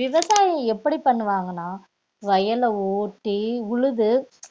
விவசாயம் எப்படி பண்ணுவாங்கன்னா வயல ஓட்டி உழுது